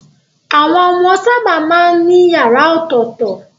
Àwọn ọmọ sábà máa ń ní yàrá ọ̀tọ̀tọ̀.